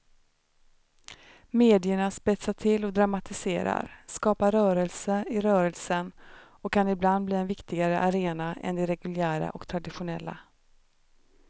Medierna spetsar till och dramatiserar, skapar rörelser i rörelsen och kan ibland bli en viktigare arena än de reguljära och traditionella.